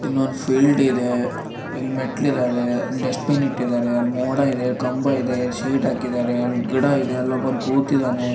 ಇಲ್ಲೊಂದ್ ಫೀಲ್ಡ್ ಇದೆ ಇಲ್ ಮೆಟ್ಲ್ ಇದಾವೆ ಡಸ್ಟ್ ಬಿನ್ ಇಟ್ಟಿದ್ದಾರೆ ಅಲ್ ಮೋಡ ಇದೆ ಕಂಬ ಇದೆ ಶೀಟ್ ಹಾಕಿದ್ದಾರೆ ಅಲ್ ಗಿಡ ಇದೆ ಅಲ್ಲೊಬನ್ ಕೂತಿದ್ದಾನೆ.